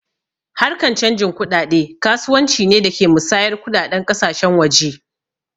Harkan canji kuɗaɗe kasuwanci ne da ke musayar kuɗaɗen ƙasashen waje